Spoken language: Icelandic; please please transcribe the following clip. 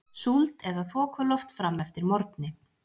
Súld eða þokuloft fram eftir morgni